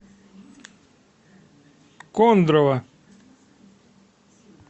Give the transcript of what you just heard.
кондрово